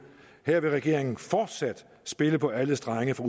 her vil regeringen fortsat spille på alle strenge fra